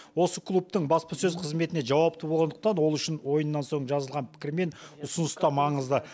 осы клубтың баспасөз қызметіне жауапты болғандықтан ол үшін ойыннан соң жазылған пікір мен ұсыныс та маңызды